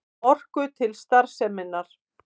Orku til starfseminnar.